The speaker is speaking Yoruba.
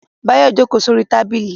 Báyọ̀ jókòó sórí tábìlì